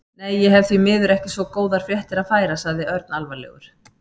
Nei, ég hef því miður ekki svo góðar fréttir að færa sagði Örn alvarlegur.